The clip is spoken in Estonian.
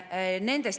Küsimused kostuvad ette.